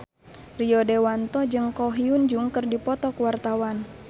Rio Dewanto jeung Ko Hyun Jung keur dipoto ku wartawan